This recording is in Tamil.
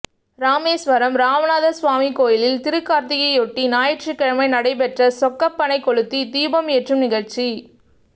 ராமேசுவரம் ராமநாதசுவாமி கோயிலில் திருக்காா்த்திகையையொட்டி ஞாயிற்றுக்கிழமை நடைபெற்ற சொக்கப்பனை கொளுத்தி தீபம் ஏற்றும் நிகழ்ச்சி